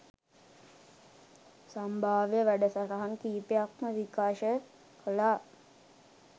සම්භාව්‍ය වැඩසටහන් කීපයක්ම විකාශය කළා.